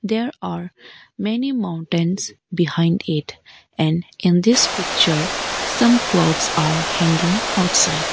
there are many maintains behind it and in this picture some clothes are hanging outside.